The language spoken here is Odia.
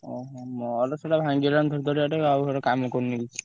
ଓହୋ! ମୋର ସେଇଟା ଭାଙ୍ଗି ଗଲାଣି ଧଡଧଡିଆ ଟେ ଆଉ ସେଇଟା କାମ କରୁନି।